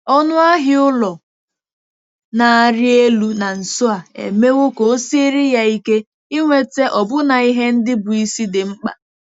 Ọnụ ahịa ụlọ na-arị elu na nso a emewo ka o siere ya ike inweta ọbụna ihe ndị bụ́ isi dị mkpa.